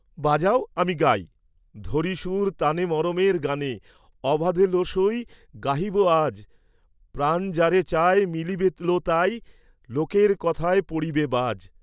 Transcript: বাজাও আমি গাই, ধরি সুর তানে মরমের গানে, অবাধে, লো সই, গাহিব আজ; প্রাণ যারে চায়, মিলিবে লো তায় লোকের কথায় পড়িবে বাজ।